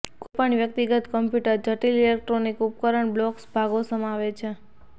કોઈપણ વ્યક્તિગત કમ્પ્યુટર જટિલ ઇલેક્ટ્રોનિક ઉપકરણ બ્લોક્સ ભાગો સમાવે છે